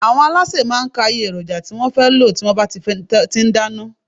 Àwọn alásè má a n ka iye èròjà tí wón fé lò tí wón bá ti n dáná